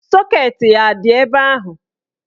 Sọket ya a dị ebe ahụ?